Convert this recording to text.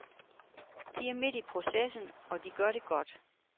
De er midt i processen og de gør det godt.